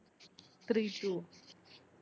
three two